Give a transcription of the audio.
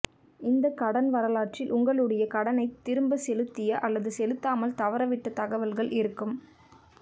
இந்த கடன் வரலாற்றில் உங்களுடைய கடனை திரும்ப செலுத்திய அல்லது செலுத்தாமல் தவற விட்ட தகவல்கள் இருக்கும்